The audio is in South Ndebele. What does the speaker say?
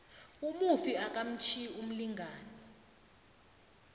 umufi akatjhiyi umlingani